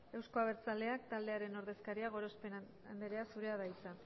euzko abertzaleak taldearen ordezkaria gorospe andrea zurea da hitza